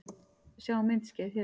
Sjá myndskeið hér